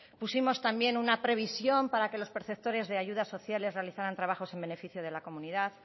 pusimos también una previsión para que los preceptores de ayudas sociales realizaran también trabajos en beneficio de la comunidad